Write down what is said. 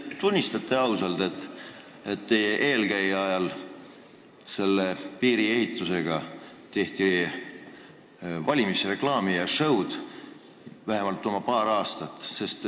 Kas te tunnistate ausalt, et teie eelkäija ajal tehti selle piiriehitusega oma paar aastat valimisreklaami ja -show'd?